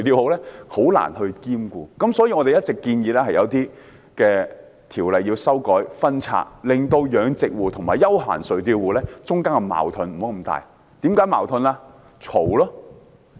漁民很難兼顧，所以我們一直建議修改和分拆一些條例，減少養殖戶和休閒垂釣戶之間的矛盾。